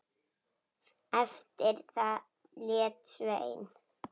Eftir það lét Sveinn